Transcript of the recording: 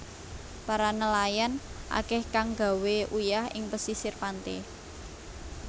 Para nelayan akeh kang gawé uyah ing pesisir pante